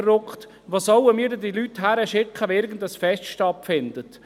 Wo sollen wir denn diese Leute hinschicken, wenn irgendein Fest stattfindet?